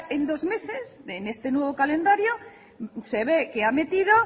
en dos meses en este nuevo calendario se ve que ha metido